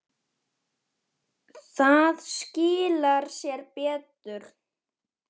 Það skilar sér betur.